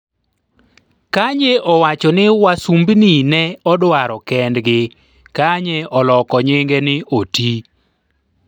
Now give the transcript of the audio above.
Kanye owacho ni wasumbni ne odwaro kendgi Kanye oloko nyinge ni Oti